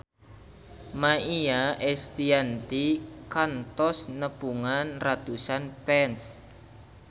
Maia Estianty kantos nepungan ratusan fans